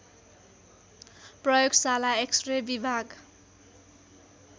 प्रयोगशाला एक्सरे विभाग